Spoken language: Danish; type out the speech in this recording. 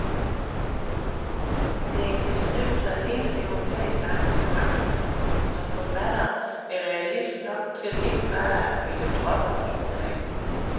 Det er en beskrivelse af hele det europæiske engagement, som forfatteren er realist nok til ikke bare at ville drømme os ud af.